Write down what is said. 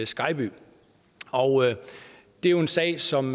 skejby det er jo en sag som